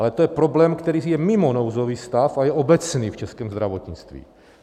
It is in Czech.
Ale to je problém, který je mimo nouzový stav a je obecný v českém zdravotnictví.